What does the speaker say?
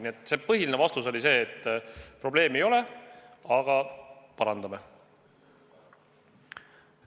Nii et põhiline vastus oli see, et probleemi ei ole, aga parandame olukorda.